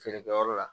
Feerekɛyɔrɔ la